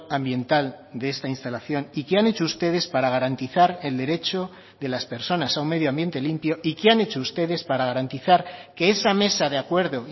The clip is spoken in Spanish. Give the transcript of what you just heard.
ambiental de esta instalación y qué han hecho ustedes para garantizar el derecho de las personas a un medio ambiente limpio y qué han hecho ustedes para garantizar que esa mesa de acuerdo